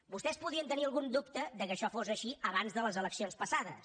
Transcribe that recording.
vostès podien tenir algun dubte que això fos així abans de les eleccions passades